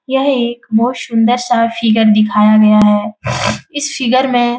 यह एक बहोत शुंदर सा फिगर दिखाया गया है इस फिगर में --